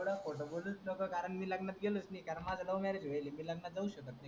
एवढा खोटा बोलूच नको. कारण मी लग्नात गेलोच नाही कारण माझ love marriage व्हायल. मी लग्नात जाउच शकत नाही.